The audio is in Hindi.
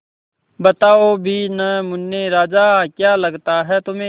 बताओ भी न मुन्ने राजा क्या लगता है तुम्हें